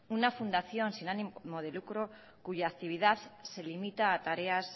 una fundación sin ánimo de lucro cuya actividad se limita a tareas